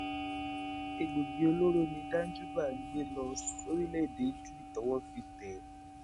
egbòogi olóró ni danjúbà ń gbé lọ sórílẹèdè italy tọwọ fi tẹ é